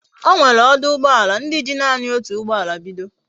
Onwere oduugboala ndi ji nani otu ugboala bido